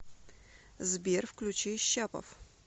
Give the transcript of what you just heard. сбер включи щапов